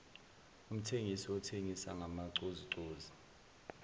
umthengisi othengisa ngamacozucozu